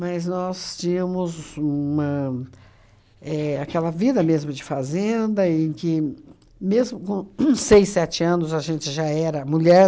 nós tínhamos uma éh aquela vida mesmo de fazenda em que, mesmo com uhn seis, sete anos, a gente já era mulher.